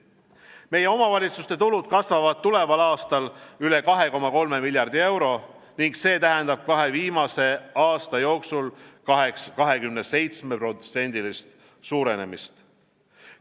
Meie omavalitsuste tulud kasvavad tuleval aastal üle 2,3 miljardi euro ning see tähendab kahe viimase aasta jooksul 27%-list suurenemist.